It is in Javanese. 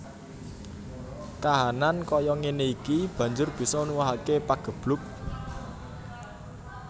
Kahanan kaya ngéné iki banjur bisa nuwuhaké pageblug